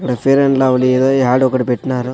ఈడ fair and lovely ఏదో ad ఒకటి పెట్నారు.